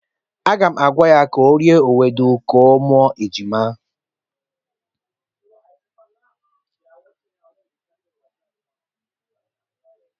Aga m agwa ya ka o rie ewedu ka ọ mụọ ejima.